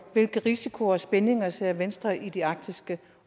hvilke risici og spændinger ser venstre i det arktiske